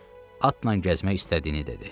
Atla gəzmək istədiyini dedi.